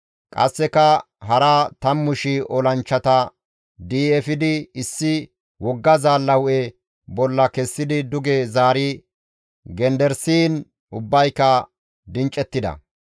Qasseka hara 10,000 olanchchata di7i efidi issi wogga zaalla hu7e bolla kessidi duge zaari genderisiin ubbayka dincettida.